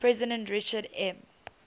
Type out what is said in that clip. president richard m